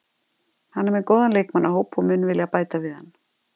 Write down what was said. Hann er með góðan leikmannahóp og mun vilja bæta við hann.